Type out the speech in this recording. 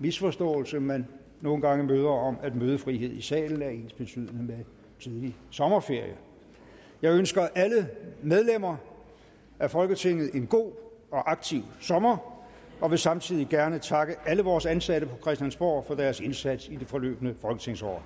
misforståelse man nogle gange møder om at mødefrihed i salen er ensbetydende med tidlig sommerferie jeg ønsker alle medlemmer af folketinget en god og aktiv sommer og vil samtidig gerne takke alle vores ansatte på christiansborg for deres indsats i det forløbne folketingsår